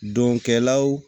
Donkɛlaw